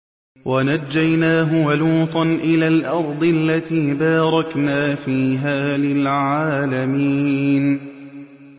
وَنَجَّيْنَاهُ وَلُوطًا إِلَى الْأَرْضِ الَّتِي بَارَكْنَا فِيهَا لِلْعَالَمِينَ